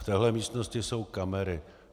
V téhle místnosti jsou kamery.